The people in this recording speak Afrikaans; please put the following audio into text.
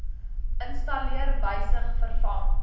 installeer wysig vervang